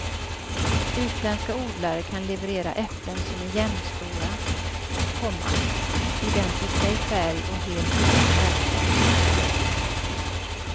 Utländska odlare kan leverera äpplen som är jämnstora, komma identiska i färg och helt utan märken. punkt